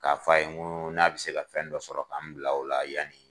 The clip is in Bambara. K'a fɔ a ye nko n'a bɛ se ka fɛn dɔ sɔrɔ k'an bila o la yan ni.